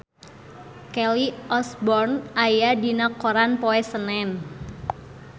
Kelly Osbourne aya dina koran poe Senen